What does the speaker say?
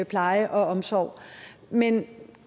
pleje og omsorg men